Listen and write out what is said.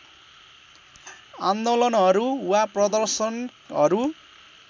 आन्दोलनहरू वा प्रदर्शनहरू